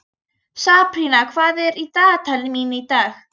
Sabrína, hvað er í dagatalinu mínu í dag?